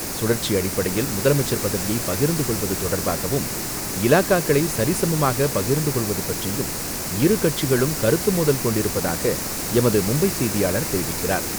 சுழற்சி அடிப்படையில் முதலமைச்சர் பதவியை பகிர்ந்து கொள்வது தொடர்பாகவும், இலாக்காக்களை சரிசமமாக பகிர்ந்து கொள்வது பற்றியும் இரு கட்சிகளும் கருத்து மோதல் கொண்டிருப்பதாக எமது மும்பை செய்தியாளர் தெரிவிக்கிறார்.